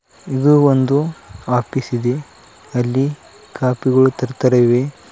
ಇದು ಒಂದು ಆಪೀಸ್ ಇದೆ ಅಲ್ಲಿ ಕಾಪಿ ಗಳು ತರ್ತಾರ ಇವೆ.